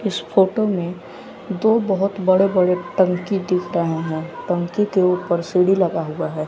इस फोटो में दो बहोत बड़े बड़े टंकी दिख रहे हैं टंकी के ऊपर सीढ़ी लगा हुआ है।